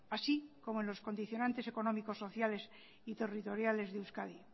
así como los condicionantes económicos sociales y territoriales de euskadi